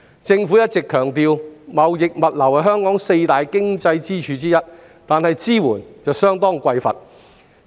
政府一直強調，貿易物流是香港的四大經濟支柱之一，但支援卻相當匱乏。